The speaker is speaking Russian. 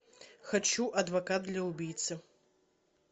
хочу адвокат для убийцы